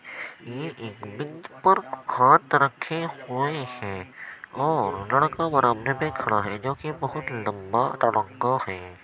ये एक बेंच पर हाथ रखे हुए हैं और लड़का बरामदे में खड़ा है जो कि बहुत लंबा लड़का है।